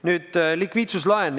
Nüüd likviidsuslaenust.